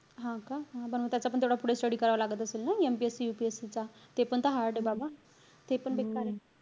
हा का? हा बनवता येत. पण तेवढं पुढे study करावं लागत असेल ना. MPSC, UPSC चा. ते पण त hard ए बाबा. ते पण बेकारे.